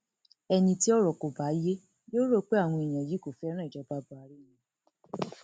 ẹni tí ọrọ kò bá yé yóò rò pé àwọn èèyàn yìí kò fẹràn ìjọba buhari ni